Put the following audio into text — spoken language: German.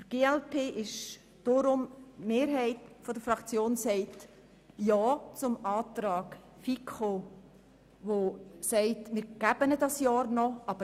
Die Mehrheit der glp-Fraktion sagt deshalb Ja zur Planungserklärung der FiKo, welche dieses eine Jahr gewähren will.